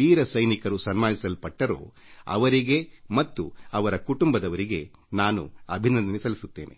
ಭಾಜನರಾದ ಯುವ ನಾಯಕರಿಗೆ ಮತ್ತು ಅವರ ಕುಟುಂಬದವರಿಗೆ ನಾನು ಅಭಿನಂದನೆ ಸಲ್ಲಿಸಿ ಗೌರವಿಸಿದ್ದೇನೆ